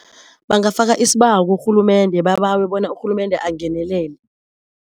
Bangafaka isibawo kurhulumende babawe bona urhulemende angenelele.